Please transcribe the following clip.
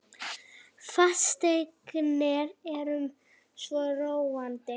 Fasteignir eru svo róandi.